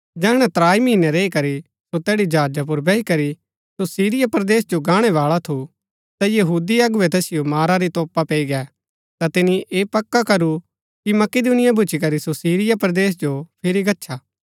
जैहणै त्राई महीनै रैई करी सो तैड़ी जहाजा पुर बैही करी सो सीरिया परदेस जो गाणै बाळा थु ता यहूदी अगुवै तैसिओ मारा री तोपा पैई गै ता तिनी ऐह पक्का करू कि मकिदुनिया भूच्ची करी सो सीरिया परदेस जो फिरी गच्छा